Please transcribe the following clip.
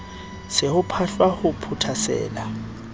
se ho phahlwa ho phothasela